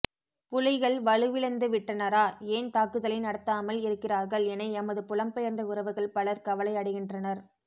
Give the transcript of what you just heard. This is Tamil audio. புலிகள் வலுவிழந்துவிட்டனரா ஏன் தாக்குதலை நடத்தாமல் இருக்கிறார்கள் என எமது புலம் பெயர்ந்த உறவுகள் பலர் கவலை அடைகின்றனர்